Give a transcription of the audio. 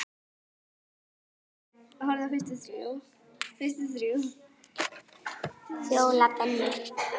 Fjóla Benný.